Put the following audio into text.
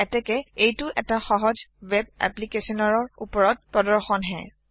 এতেকে এইটো এটা সহজ ৱেব এপ্লিকেচনৰৰ ওপৰত পৰিদৰ্শনহে